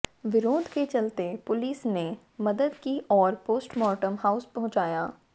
विरोध के चलते पुलिस ने मदद की और पोस्टमार्टम हाउस पहुंचाया